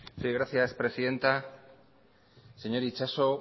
sí gracias presidenta señor itxaso